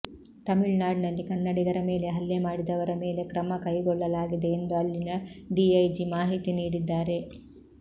ತಮಿಳುನಾಡಿನಲ್ಲಿ ಕನ್ನಡಿಗರ ಮೇಲೆ ಹಲ್ಲೆ ಮಾಡಿದವರ ಮೇಲೆ ಕ್ರಮಕೈಗೊಳ್ಳಲಾಗಿದೆ ಎಂದು ಅಲ್ಲಿನ ಡಿಐಜಿ ಮಾಹಿತಿ ನೀಡಿದ್ದಾರೆ